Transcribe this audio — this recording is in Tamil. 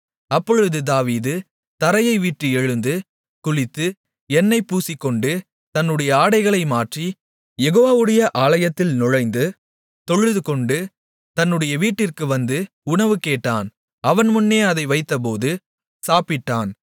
அப்பொழுது தாவீது தரையைவிட்டு எழுந்து குளித்து எண்ணெய் பூசிக்கொண்டு தன்னுடைய ஆடைகளை மாற்றி யெகோவாவுடைய ஆலயத்தில் நுழைந்து தொழுதுகொண்டு தன்னுடைய வீட்டிற்கு வந்து உணவு கேட்டான் அவன் முன்னே அதை வைத்தபோது சாப்பிட்டான்